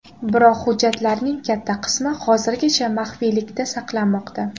Biroq hujjatlarning katta qismi hozirgacha maxfiylikda saqlanmoqda.